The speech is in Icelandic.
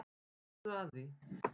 Gáðu að því.